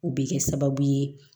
O bɛ kɛ sababu ye